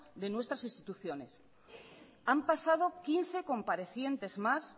de nuestras instituciones han pasado quince comparecientes más